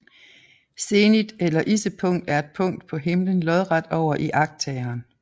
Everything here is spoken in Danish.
Zenit eller issepunkt er et punkt på himlen lodret over iagttageren